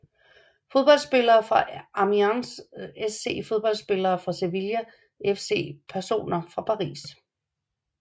Fodboldspillere fra Amiens SC Fodboldspillere fra Sevilla FC Personer fra Paris